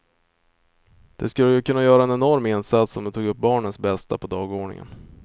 Det skulle kunna göra en enorm insats om det tog upp barnens bästa på dagordningen.